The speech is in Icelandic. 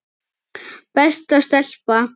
Besta stelpa.